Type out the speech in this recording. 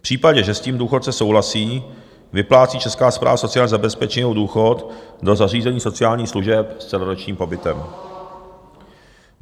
V případě, že s tím důchodce souhlasí, vyplácí Česká správa sociální zabezpečení jeho důchod do zařízení sociálních služeb s celoročním pobytem.